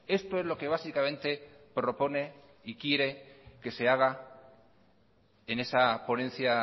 esto es lo que básicamente propone y quiere que se haga en esa ponencia